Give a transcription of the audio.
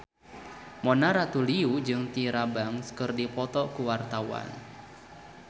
Mona Ratuliu jeung Tyra Banks keur dipoto ku wartawan